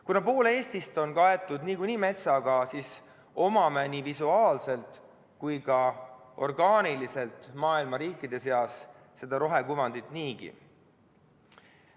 Kuna pool Eestist on niikuinii kaetud metsaga, siis omame nii visuaalselt kui ka orgaaniliselt maailma riikide seas seda rohekuvandit niigi.